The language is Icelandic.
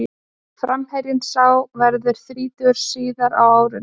Framherjinn sá verður þrítugur síðar á árinu.